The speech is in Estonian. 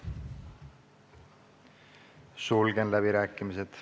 Sulgen läbirääkimised.